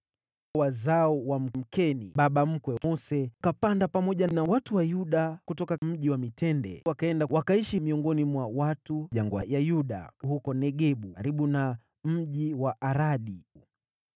Wazao wa yule Mkeni, baba mkwe wa Mose, wakapanda pamoja na watu wa Yuda kutoka Mji wa Mitende, wakaenda kuishi miongoni mwa watu wa jangwa ya Yuda huko Negebu karibu na mji wa Aradi.